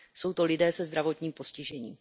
Jsou to lidé se zdravotním postižením.